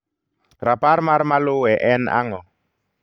Rapar mar maluwe en ang'o?